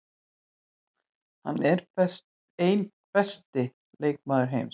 Hann er einn besti leikmaður heims.